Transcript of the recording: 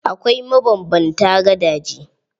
Akwai mabanbanta gadaje.